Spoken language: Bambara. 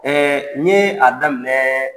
n ye a daminɛ.